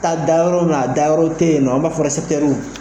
Ta da yɔrɔ min a dayɔrɔ te yen nɔn an b'a fɔ ɛrɛsɛpitɛruw